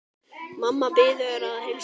Mamma biður að heilsa.